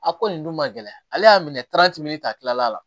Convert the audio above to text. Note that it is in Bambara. A ko nin dun ma gɛlɛya ale y'a minɛ ta tilal'a la